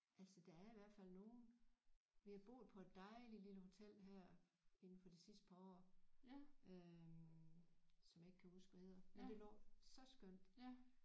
Altså der er i hvert fald nogle vi har boet på et dejligt lille hotel her inden for de sidste par år øh som jeg ikke kan huske hvad hedder men det var så skønt